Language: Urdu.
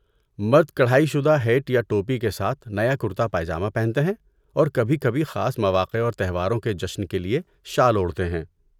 مرد کڑھائی شدہ ہیٹ یا ٹوپی کے ساتھ نیا کرتا پائجامہ پہنتے ہیں اور کبھی کبھی، خاص مواقع اور تہواروں کے جشن کے لیے، شال اوڑھتے ہیں،۔